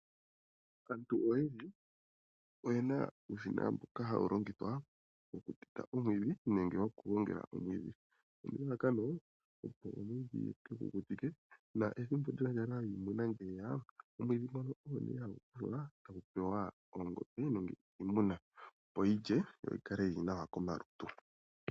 Aantu oyendji oyena uushina mboka hawu longithwa okuteta omwiidhi nenge okugongela omwiidhi. Nelalakano opo omwiidhi ye ke gu kukutike na ethimbo lyondjala yiimuna ngele lyeya. Omwiidhi ngono ogo nee hagu pewa oongombe nenge iimuna, yo yi lye yi kale yili nawa komalutu.